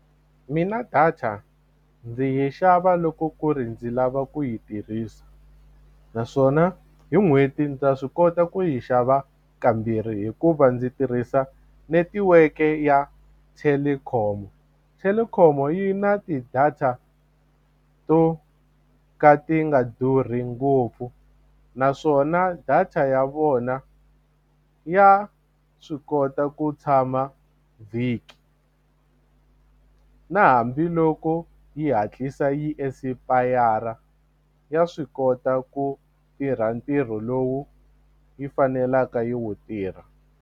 Mina data ndzi yi xava loko ku ri ndzi lava ku yi tirhisa naswona hi n'hweti ndzi ta swi kota ku yi xava kambirhi hikuva ndzi tirhisa netiweke ya Telkom, Telkom yi na ti-data to ka ti nga durhi ngopfu naswona data ya vona ya swi kota ku tshama vhiki na hambiloko yi hatlisa yi esipayara ya swi kota ku tirha ntirho lowu yi fanelaka yi wu tirha.